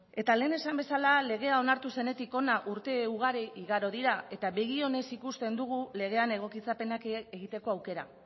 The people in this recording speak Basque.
eta lehen esan bezala legea onartu zenetik hona urte ugari igaro dira eta begi onez ikusten dugu legean egokitzapenak egiteko aukera